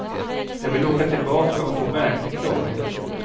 Jag vill åka tillbaka och få verklig klarhet.